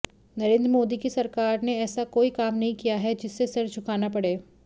नरेंद्र मोदी की सरकार ने ऐसा कोई काम नहीं किया है जिससे सिर झुकाना पड़े